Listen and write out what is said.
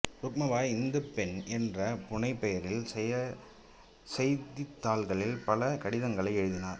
ருக்மபாய் ஒரு இந்துப் பெண் என்ற புனைப் பெயரில் செய்தித்தாள்களில் பல கடிதங்களை எழுதினார்